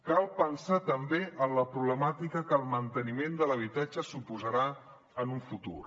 cal pensar també en la problemàtica que el manteniment de l’habitatge suposarà en un futur